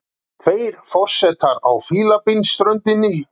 Tveir forsetar á Fílabeinsströndinni